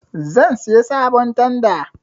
Zan saya sabon tanda